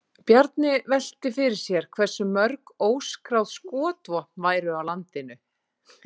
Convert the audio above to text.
Bjarni velti fyrir sér hversu mörg óskráð skotvopn væru á landinu.